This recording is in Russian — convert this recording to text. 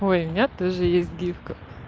ой у меня тоже есть гифка